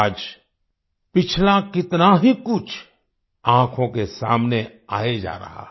आज पिछला कितना ही कुछ आँखों के सामने आए जा रहा है